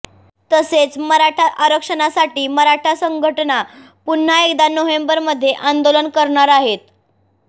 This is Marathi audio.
तसेच मराठा आरक्षणासाठी मराठा संघटना पुन्हा एकदा नोंव्हेबरमध्ये आंदोलन करणार आहेत